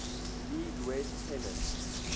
league west pennant